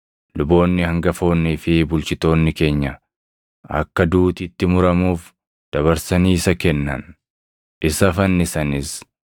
Luboonni hangafoonnii fi bulchitoonni keenya akka duuti itti muramuuf dabarsanii isa kennan; isa fannisanis.